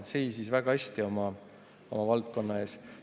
Ta seisis väga hästi oma valdkonna eest.